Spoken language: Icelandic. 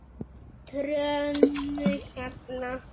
Trönuhjalla